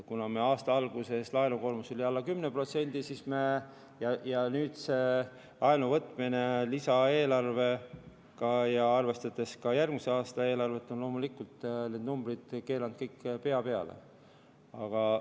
Kuna meil aasta alguses oli laenukoormus alla 10%, siis see laenuvõtmine lisaeelarvega ja arvestades ka järgmise aasta eelarvet, on loomulikult need numbrid kõik pea peale keeranud.